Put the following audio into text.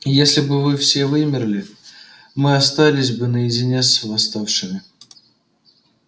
если бы вы все вымерли мы остались бы наедине с восставшими